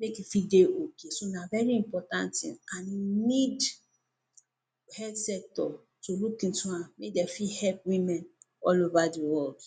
make e fit dey okay. So, na very important tin an you need health sector to look into am make de fit help women all over the world.